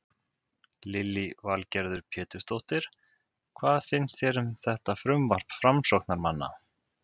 Lillý Valgerður Pétursdóttir: Hvað finnst þér um þetta frumvarp framsóknarmanna?